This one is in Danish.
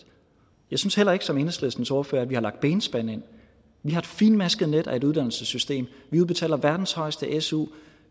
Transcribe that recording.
jeg synes heller ikke som enhedslistens ordfører at vi har lagt benspænd ind vi har et fintmasket net af et uddannelsessystem vi udbetaler verdens højeste su